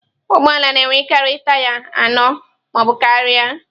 Ụgbọ ala na-enwekarị taya anọ ma ọ bụ karịa.